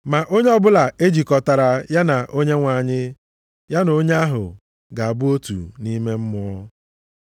Ma onye ọbụla e jikọtara ya na Onyenwe anyị, ya na onye ahụ ga-abụ otu nʼime mmụọ.